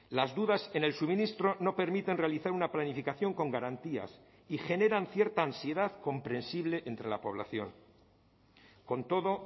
las dudas en el suministro no permiten realizar una planificación con garantías y generan cierta ansiedad comprensible entre la población con todo